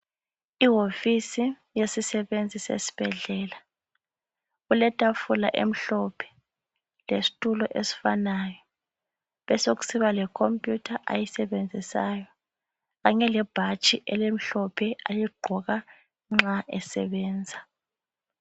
Iwofisi yesisebenzi sesibhedlela, kuletafula emhlophe lesitulo esifanayo. Besokusiba lekhompiyutha ayisebenzisayo kanye lebhatshi elimhlophe aligqoka nxa esebenza.